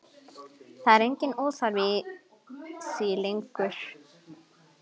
Það er enginn óþarfi í því lengur!